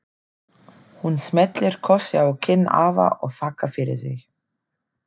Hún smellir kossi á kinn afa og þakkar fyrir sig.